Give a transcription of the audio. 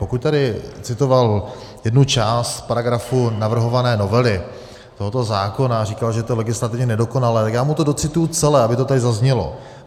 Pokud tady citoval jednu část paragrafu navrhované novely tohoto zákona a říkal, že je to legislativně nedokonalé, tak já mu to docituji celé, aby to tady zaznělo.